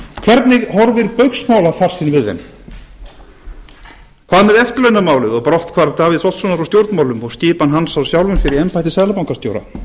hvernig horfir baugsmálafarsinn við þeim hvað með eftirlaunamálið og brotthvarf davíðs oddssonar úr stjórnmálum og skipan hans á sjálfum sér í embætti seðlabankastjóra